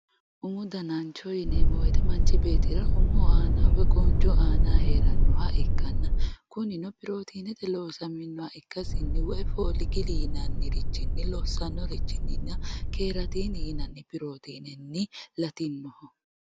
umu danancho yineemmo woyte manchi beettira umoho woy qooncho aanaho heerannoha ikkanna kunino pirootinete loosamminoha ikkasinni woy foligili yinannirichinni lossannirichooti keratirooti yinanni pirootinenni latinoho